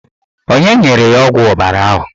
Onye nyere ya ọgwụ ọbara ahụ?